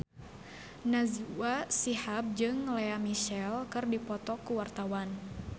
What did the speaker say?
Najwa Shihab jeung Lea Michele keur dipoto ku wartawan